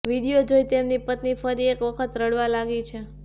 video જોઇ તેમની પત્ની ફરી એકવખત રડવા લાગી છે